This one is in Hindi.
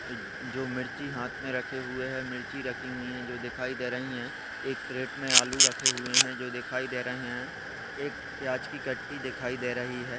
जो मिर्ची हात मे रखे हुए है। मिर्ची रखी हुई है। जो दिखाई दे रही है। एक क्रीट मे आलू रखे हुए है। जो दिखाई दे रहे है। एक प्याज की कट्टी दिखाई दे रही है।